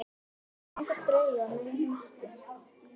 Gangur drauga mesti.